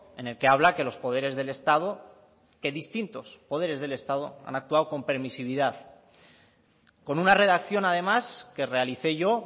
en el que habla que los poderes del estado que distintos poderes del estado han actuado con permisividad con una redacción además que realicé yo